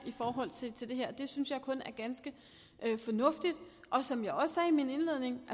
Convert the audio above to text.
i forhold til til det her det synes jeg kun er ganske fornuftigt som jeg også sagde i min indledning